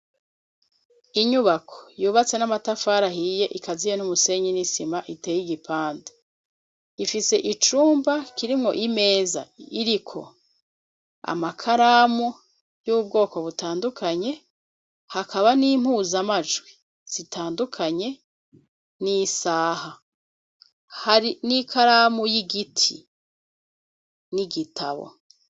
Inyubako yubatse n'amatafara ahiye ikaziye n'umusenyi n'isima iteye i gipande, ifise icumba kirimwo imeza iriko amakaramu y'ubwoko butandukanye hakaba n'impuzamajwi zitandukanye n'isaha, hari n'ikaramu y'igiti n'igitabo.